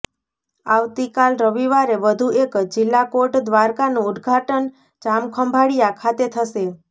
આવતીકાલ રવિવારે વધુ એક જિલ્લા કોર્ટ દ્વારકાનું ઉદ્ઘાટન જામખંભાળિયા ખાતે થશે